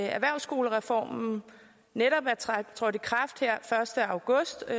erhvervsskolereformen netop er trådt i kraft her første august og